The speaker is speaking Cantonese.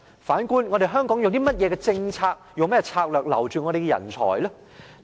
反觀，香港有甚麼政策，用甚麼策略來留住我們的人才呢？